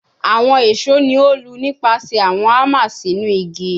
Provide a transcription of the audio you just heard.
Awọn eso ni o lu nipasẹ awọn hammer sinu igi